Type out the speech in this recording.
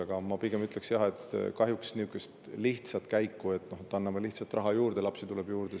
Aga ma pigem ütleks seda, et kahjuks nii lihtsalt, et anname lisaraha ja lapsi tuleb juurde.